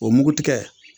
O mugu tigɛ